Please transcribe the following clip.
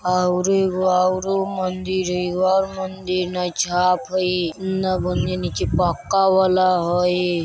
और एगो औरों मंदिर हई एगो और मंदिर नीचे पक्का वला हई।